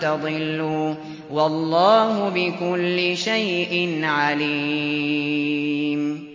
تَضِلُّوا ۗ وَاللَّهُ بِكُلِّ شَيْءٍ عَلِيمٌ